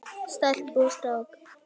Stelpu og strák.